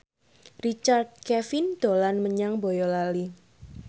Richard Kevin dolan menyang Boyolali